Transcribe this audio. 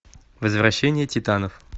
возвращение титанов